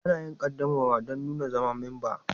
Ana yin ƙaddamarwa don nuna zama memba.